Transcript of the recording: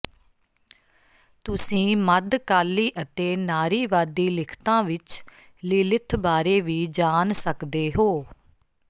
ਤੁਸੀਂ ਮੱਧਕਾਲੀ ਅਤੇ ਨਾਰੀਵਾਦੀ ਲਿਖਤਾਂ ਵਿੱਚ ਲੀਲਿਥ ਬਾਰੇ ਵੀ ਜਾਣ ਸਕਦੇ ਹੋ